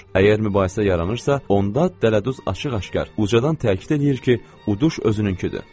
Əgər mübahisə yaranırsa, onda dələduz açıq-aşkar, ucadan təkid eləyir ki, uduş özününkidir.